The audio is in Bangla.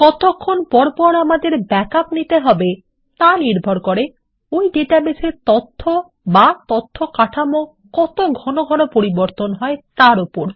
কতক্ষণ পর পর আমাদের ব্যাকআপ নিতে হবে তা নির্ভর করে ওই ডাটাবেসের তথ্য বা তথ্য কাঠামো কত ঘন ঘন পরিবর্তন হয় তার ওপর